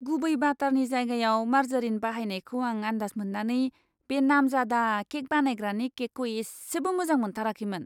गुबै बाटारनि जायगायाव मार्जारिन बाहायनायखौ आं आन्दास मोन्नानै बे नामजादा केक बानायग्रानि केकखौ इसेबो मोजां मोनथाराखैमोन!